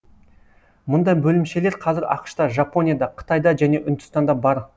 мұндай бөлімшелер қазір ақш та жапонияда қытайда және үндістанда бар